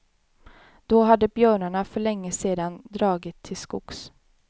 Då hade björnarna för länge sedan dragit till skogs.